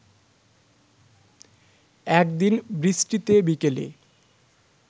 একদিন বৃষ্টিতে বিকেলে